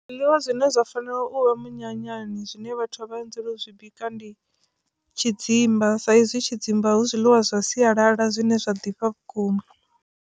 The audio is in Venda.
Zwiḽiwa zwine zwa fanela u vha minyanyani zwine vhathu vha anzela u zwi bika ndi tshidzimba saizwi tshidzimba hu zwiḽiwa zwa sialala zwine zwa ḓifha vhukuma.